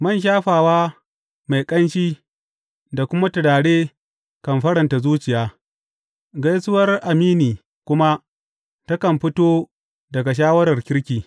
Man shafawa mai ƙanshi da kuma turare kan faranta zuciya, gaisuwar amini kuma takan fito daga shawarar kirki.